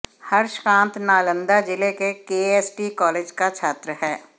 हर्षकांत नालंदा जिले के KST college का छात्र है